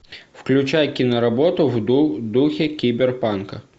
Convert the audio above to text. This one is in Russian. включай киноработу в духе киберпанка